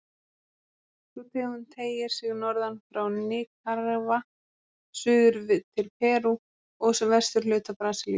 Sú tegund teygir sig norðan frá Nikaragva, suður til Perú og vesturhluta Brasilíu.